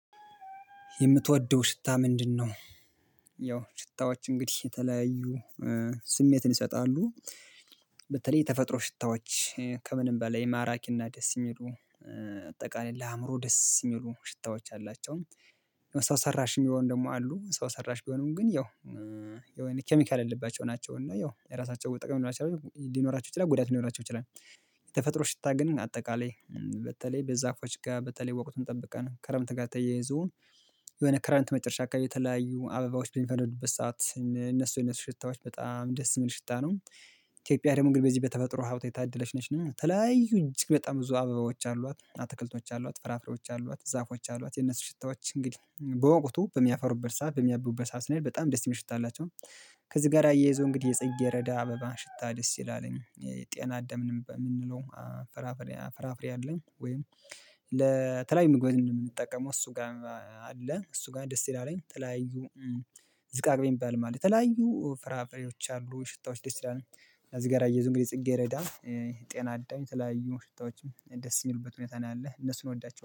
የምትወደው ሽታ ምንድነው? ያው ሽታዎች እንግዲህ የተለያዩ ስሜትን ይሰጣሉ። በተለይ ተፈጥሮ ሽታዎች ከምንም በላይ ማራኪና ደስ የሚሉ አጠቃላይ ለአእምሮ ደስ የሚሉ ሽታዎች አላቸውም። ሰው ሰራሽም የሆኑ ደግሞ አሉ ሰው ሰራሽ ቢሆኑም ግን ያው የሆነ ኬሚካል ያለባቸው ናቸው እና ያው የራሳቸው ጥቅም ሊኖራቸው ይችላል ጉዳት ሊኖራቸው ይችላል። የተፈጥሮ ሽታ ግን አጠቃላይ በተለይ በዛፎች ጋር በተለይ ወቅቱን ጠብቀን ክረምት ጋር ተያይዞ የሆነ ክረምት መጨረሻ አካባቢ የተለያዩ አበባዎች በሚፈነዱበት ሰዓት እነሱ እነሱ ሽታዎች በጣም ደስ የሚል ሽታ ነው። ኢትዮጵያ ደግሞ በዚህ በተፈጥሮ ሀብት የታደለች ነች እና የተለያዩ እጅግ በጣም ብዙ አበባዎች አሏት አትክልቶች አሏት ፍራፍሬዎች አሏት ዛፎች አሏት የነሱ ሽታዎች እንግዲህ በወቅቱ በሚያፈሩበት ሰዓት በሚያብቡበት ሰዓት ስንሄድ በጣም ደስ የሚል ሽታ አላቸው። ከዚህ ጋር አያይዞ እንግዲህ የጽጌሬዳ አበባ ሽታ ደስ ይላል የጤና አዳም የምንለው። ፍራፍሬ አለኝ ወይም ለተለያዩ ምግብ የምንጠቀመው እሱ ጋር አለ እሱ ጋር ደስ ይላል የተለያዩ ዝቃቅቤ የሚባልም አለ የተለያዩ ፍራፍሬዎች አሉ ሽታዎች ደስ ይላል። እዚህ ጋር አያይዞ እንግዲህ ጽጌሬዳ ጤና አዳም የተለያዩ ሽታዎችም ደስ የሚሉበት ሁኔታ ነው ያለ እነሱን እወዳቸዋለሁ